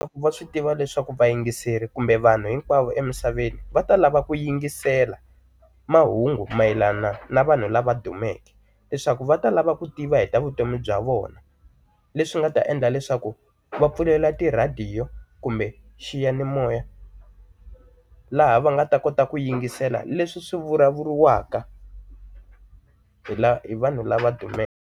Va swi tiva leswaku vayingiseri kumbe vanhu hinkwavo emisaveni va ta lava ku yingisela mahungu mayelana na vanhu lava dumeke leswaku va ta lava ku tiva hi ta vutomi bya vona leswi nga ta endla leswaku va pfulela ti radio kumbe xiyanimoya laha va nga ta kota ku yingisela leswi swi vulavuriwaka hi lava vanhu lava dumeke.